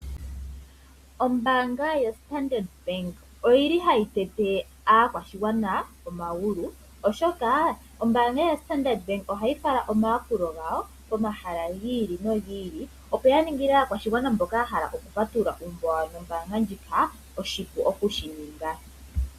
Oombanga yo Standard Bank oyili hayi tete aakwashigwana omagulu oshoka oombanga ya Standard Bank ohayi fala omayakulo gawo pomahala gili no gili opo ya ningile aakwashigwana mboka yahala oku patulula uumbo no mbanga ndjika oshipu okushininga.